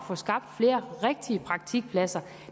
få skabt flere rigtige praktikpladser